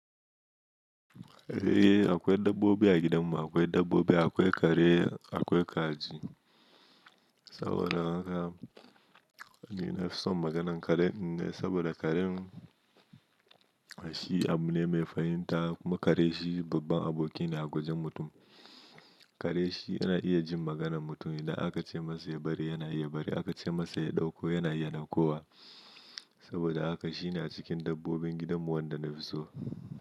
Eh akwai dabbobi a gidan mu, akwai dabbobi akwai kare akwai kaji. Saboda haka ni na fi son maganan kare ne saboda karen shi abu ne mai fahimta kuma kare shi babban abokine a gwajin mutum. Kare shi yana iya jin maganan mutum idan aka ce masa ya bari yana iya bari aka ce masa ya ɗauko yana iya ɗaukowa Saboda haka shi na cikin dabbobin gidan mu wanda na fi so.